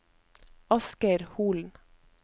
Asgeir Holen